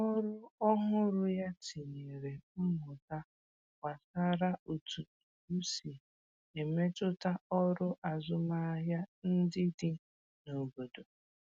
Ọrụ ọhụrụ ya tinyèrè mmụta gbasàra otu iwu si emetụta ọrụ azụmahịa ndị dị n’obodo